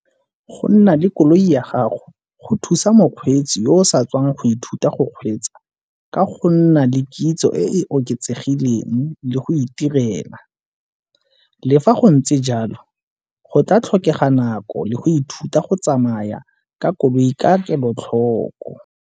Go nna le koloi ya gago go thusa mokgweetsi yo o sa tswang go ithuta go kgweetsa ka go nna le kitso e e oketsegileng le go itirela. Le fa go ntse jalo go tla tlhokega nako le go ithuta go tsamaya ka koloi ka kelotlhoko.